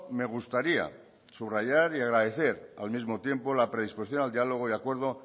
me gustaría subrayar y agradecer al mismo tiempo la predisposición al diálogo y acuerdo